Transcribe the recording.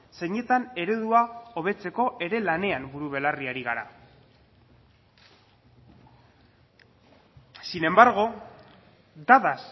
zeinetan eredua hobetzeko ere lanean buru belarri ari gara sin embargo dadas